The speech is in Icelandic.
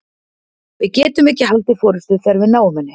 Við getum ekki haldið forystu þegar við náum henni.